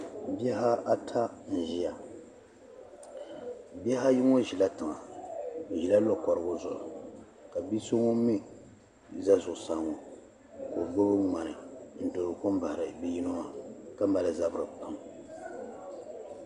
bihi ata n-ʒia bihi ayi ŋɔ nyɛla tiŋab bɛ ʒila lɔkorugu zuɣu ka bi' so ŋun mi za zuɣusaa ŋɔ ka o gbubi ŋmani n-doori kom bahiri bi' yino maa ka mali zabiri kpaam